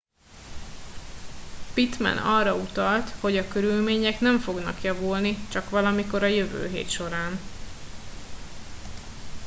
pittman arra utalt hogy a körülmények nem fognak javulni csak valamikor a jövő hét során